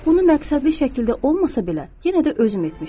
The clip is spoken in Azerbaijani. Bunu məqsədli şəkildə olmasa belə, yenə də özüm etmişdim.